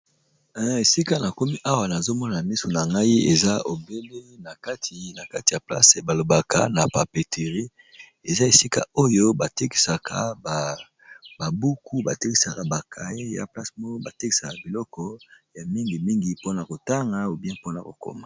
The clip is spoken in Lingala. Esika na komi awa nazo mona misu na ngai eza obele na kati ya place balobaka na papeterie, eza esika oyo ba tekisaka ba buku ba tekisaka ba cahier ea place moko ba tekisaka biloko ya mingi mingi mpona kotanga ou bien mpona kokoma.